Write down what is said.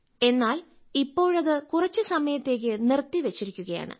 എന്നാൽ ഇപ്പോഴത് കുറച്ചുസമയത്തേക്ക് നിർത്തിവെച്ചിരിക്കുകയാണ്